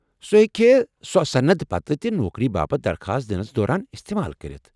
سٗہ ہیٚکِہے سۄ صند پتہٕ تہِ نوكری باپت درخواست دِنس دوران استعمال کٔرتھ ۔